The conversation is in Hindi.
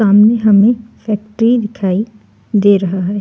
सामने हमें फैक्ट्री